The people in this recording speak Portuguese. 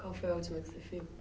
Qual foi a última que você viu.